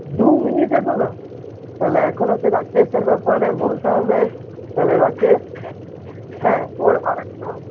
দু minute এখনো তাহলে এখনো সে রাকেশ এর ব্যাপারে বলতে হবে তো রাকেশ হ্যাঁ ওর আরেকটা